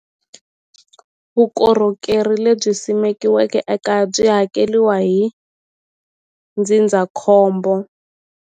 Vukorhokeri lebyi simekiweke ekaya byi hakeliwa hi ndzindzakhombo.